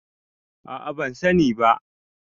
a a ban sani ba